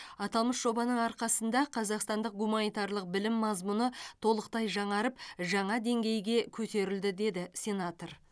аталмыш жобаның арқасында қазақстандық гуманитарлық білім мазмұны толықтай жаңарып жаңа деңгейге көтерілді деді сенатор